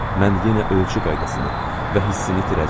Mən yenə ölçü qaydasını və hissini itirəcəm.